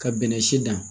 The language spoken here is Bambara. Ka bɛnnɛ si dan